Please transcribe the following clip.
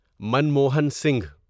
Manmohan Singh